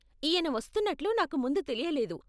ఈయన వస్తున్నట్లు నాకు ముందు తెలియలేదు.